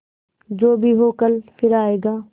जो भी हो कल फिर आएगा